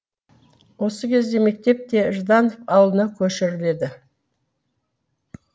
осы кезде мектеп те жданов ауылына көшіріледі